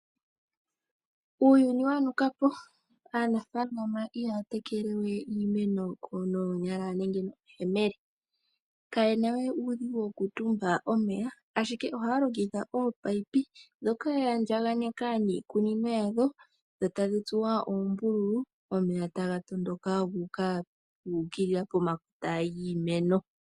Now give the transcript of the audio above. Uuyuni wa nukapo aanafalama ihaya tekelewe iimeno noonyala nenge nomayemele, kaye nawe uudhigu wokutumba omeya ashike ohaya longitha ominino ndhoka yaandjaganeka niikunino yadho, dho tadhi tsuwa uumbululu omeya taga tondoka guukilila pomakota giimeno.